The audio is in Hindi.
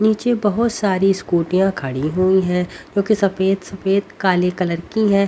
नीचे बहोत सारी स्कूटियां खड़ी हुई हैं जो कि सफेद सफेद काले कलर की हैं।